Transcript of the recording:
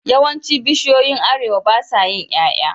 Yawancin bishiyoyin arewa basa yin yaya